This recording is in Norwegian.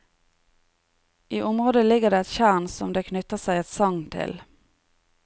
I området ligger det et tjern som det knytter seg et sagn til.